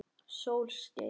Sól skein.